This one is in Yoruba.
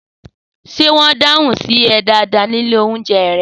Sé wõn dáhun sí õ dàdá ní ìlé ounjé yen?